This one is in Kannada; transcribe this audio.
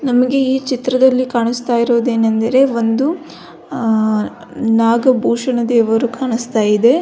ನಮಗೆ ಈ ಚಿತ್ರದಲ್ಲಿ ಕಾಣಿಸ್ತಾ ಇರೋದು ಏನಂದರೆ ಒಂದು ಅ ನಾಗಭೂಷಣ ದೇವರು ಕಾಣಿಸ್ತಾ ಇದೆ.